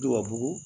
Dubabu